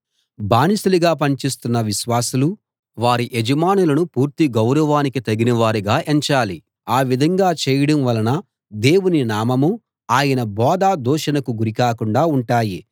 బానిసలుగా పని చేస్తున్న విశ్వాసులు వారి యజమానులను పూర్తి గౌరవానికి తగినవారుగా ఎంచాలి ఆ విధంగా చేయడం వలన దేవుని నామమూ ఆయన బోధా దూషణకు గురి కాకుండా ఉంటాయి